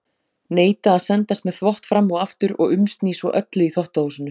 Neita að sendast með þvott fram og aftur og umsný svo öllu í þvottahúsinu.